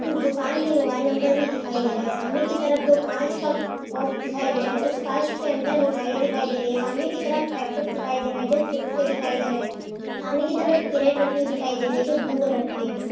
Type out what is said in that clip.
उस दुकान का मोबाइल नंबर भी दिखाई दे रहा है। सामने की तरफ दो काँच का बोक्स दिखाई दे रहा है। उस काँच के अंदर मिठाइयां दिखाई दे रही है। सामने की तरफ पैकेट दिखाई दे रहा है जो चिप्स के दिखाई दे रहे है। सामने की तरफ एक कैरेट दिखाई दे रही है जो ब्लू कलर की है।